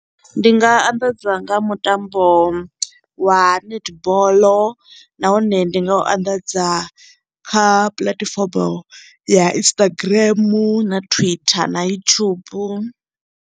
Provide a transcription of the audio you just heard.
Ndi nga anḓadza nga mutambo wa netball nahone ndi nga u anḓadza kha puḽatifomo ya Instagram, na Twitter, na YouTube.